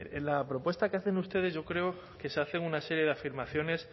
bueno en la propuesta que hacen ustedes yo creo que se hacen una serie de afirmaciones